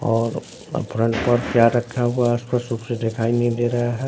और फ्रंट पर चेयर रखा हुआ है आस पास दिखाई नहीं दे रहा है।